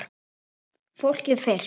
Fólkið fyrst!